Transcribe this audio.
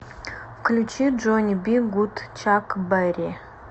включи джонни би гуд чак берри